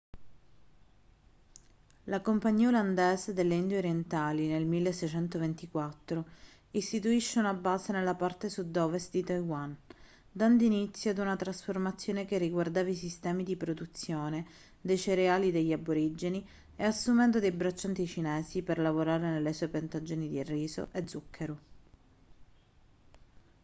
la compagnia olandese delle indie orientali nel 1624 istituisce una base nella parte sud-ovest di taiwan dando inizio ad una trasformazione che riguardava i sistemi di produzione dei cereali degli aborigeni e assumendo dei braccianti cinesi per lavorare nelle sue piantagioni di riso e zucchero